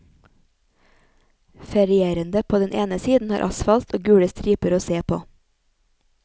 Ferierende på den ene siden har asfalt og gule striper å se på.